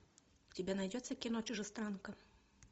у тебя найдется кино чужестранка